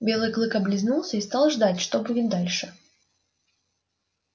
белый клык облизнулся и стал ждать что будет дальше